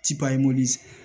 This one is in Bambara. Ti paɲi